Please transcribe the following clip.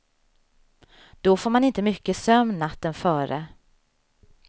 Då får man inte mycket sömn natten före.